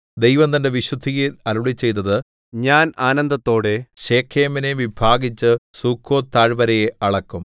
ദൈവം തന്റെ വിശുദ്ധിയിൽ അരുളിച്ചെയ്തത് ഞാൻ ആനന്ദത്തോടെ ശെഖേമിനെ വിഭാഗിച്ച് സുക്കോത്ത് താഴ്വരയെ അളക്കും